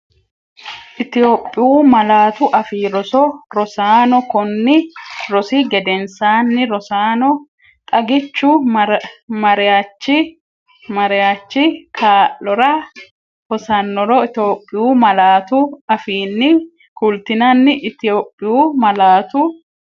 Itophiyu Malaatu Afii Roso Rosaano konni rosi gedensaanni Rosaano, xagichu mariachi mariachi kaa’lora hosannro Itophiyu malaatu afiinni kultinani Itophiyu Malaatu.